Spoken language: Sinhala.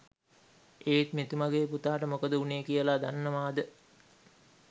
ඒත් මෙතුමගෙ පුතාට මොකද උනේ කියල දන්නවද?